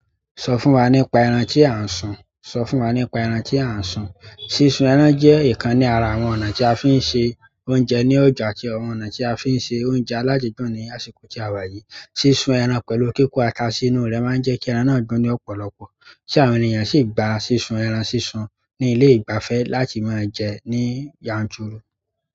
Sọ fún wa nípa ẹran tí a ń sun. Sísun ẹran jẹ́ ìkan ní ara àwọn ọ̀nà tí a fi ń se oúnjẹ ní ọjà àti ọ̀nà tí a fi ń ṣe oúnjẹ aládídùn ní àsìkò tí a wà yìí. Sísun ẹran pẹ̀lú kíkó ata sínú rẹ̀ máa ń jẹ́ kí ẹran náà gbón ní ọ̀pọ̀lọpọ̀ tí àwọn èèyàn sì gba sísun ẹran sísun ní ilé ìgbafẹ́ láti máa jẹ ní yanjúru.